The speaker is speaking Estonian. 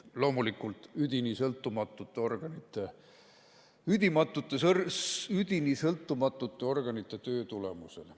Loomulikult üdini sõltumatute organite, üdini sõltumatute organite töö tulemusena.